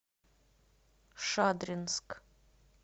шадринск